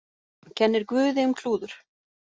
Kennir guði um klúður